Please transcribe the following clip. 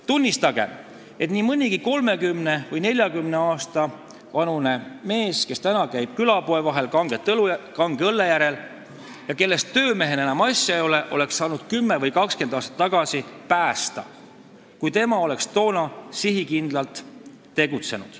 Tunnistagem, et nii mõnegi 30 või 40 aasta vanuse mehe, kes praegu käib külapoe vahet kange õlle järel ja kellest töömehena enam asja ei ole, oleks saanud 10 või 20 aastat tagasi päästa, kui oleks sihikindlalt tegutsetud.